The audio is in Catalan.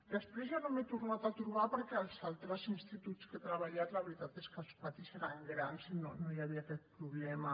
després ja no m’hi he tornat a trobar perquè als altres instituts que he treballat la veritat és que els patis eren grans i no hi havia aquest problema